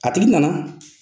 A tigi nana.